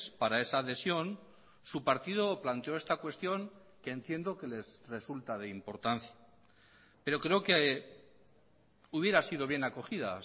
para esa adhesión su partido planteó esta cuestión que entiendo que les resulta de importancia pero creo que hubiera sido bien acogida